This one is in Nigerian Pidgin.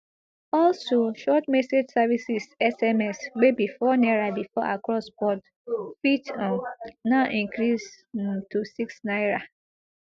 also short message services sms wey be four naira bifor across board fit um now increase um to six naira